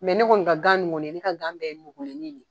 ne kɔni ka ganin kɔni, ne ka gan bɛɛ nugulenin de yen .